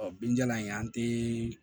Ɔ binjalan in an tɛ